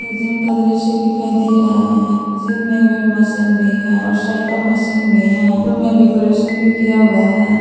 Gym का दृश्य दिखाई दे रहा है जिम में वेट मशीन भी है और साइकिल मशीन भी हैं जिम में डेकोरेशन भी किया हुए हैं।